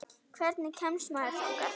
Hvernig kemst maður þangað?